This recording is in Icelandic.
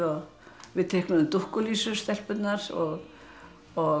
við teiknuðum dúkkulísur stelpurnar og og